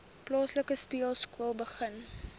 plaaslike speelskool begin